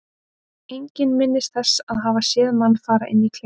Enginn minnist þess að hafa séð manninn fara inn í klefann.